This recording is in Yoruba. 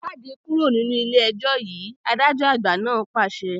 Jáde kúrò nínú ilé ẹjọ́ yìí, adájọ́ àgbà náà pàṣẹ